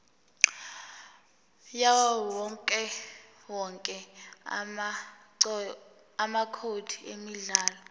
yawowonke amacode emidlalo